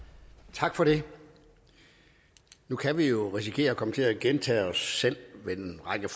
tak for det nu kan vi jo risikere at komme til at gentage os selv ved en række